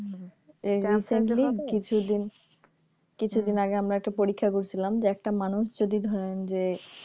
এই recently কিছুদিন কিছুদিন আগে আমরা একটা পরীক্ষা করছিলাম যে একটা মানুষ যদি ধরেন যে